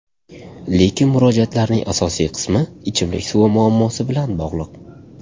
Lekin murojaatlarning asosiy qismi ichimlik suvi muammosi bilan bog‘liq.